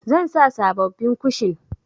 Zan sa sabobbin kushin.